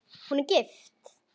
Hún er gift.